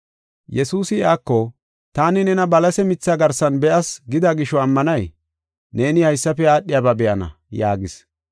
Yesuusi iyako, “Taani nena balase mithee garsan be7as gida gisho ammanay? Neeni haysafe aadhiyaba be7ana!” yaagis.